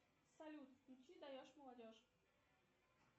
салют включи даешь молодежь